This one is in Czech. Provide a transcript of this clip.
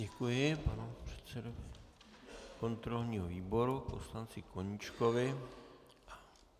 Děkuji panu předsedovi kontrolního výboru poslanci Koníčkovi.